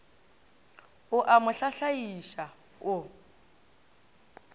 o a mo hlahlaiša o